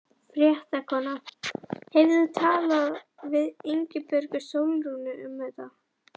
Fréttakona: Hefur þú talað við Ingibjörgu Sólrúnu um þetta?